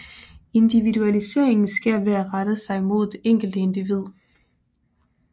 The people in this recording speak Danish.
Individualiseringen sker ved at rette sig mod det enkelte individ